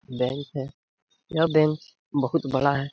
Bank है यह bank बहुत बड़ा है ।.